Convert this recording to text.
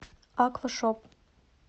аквашоп